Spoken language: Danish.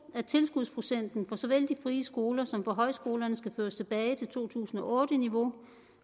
at tilskudsprocenten for såvel de frie skoler som for højskolerne skal føres tilbage til to tusind og otte niveau